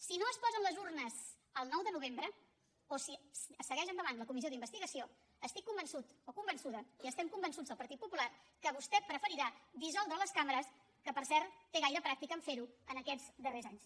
si no es posen les urnes el nou de novembre o si segueix endavant la comissió d’investigació estic convençuda i estem convençuts al partit popular que vostè preferirà dissoldre les cambres que per cert té prou pràctica a fer ho en aquests darrers anys